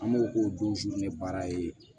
An b'o k'o don baara ye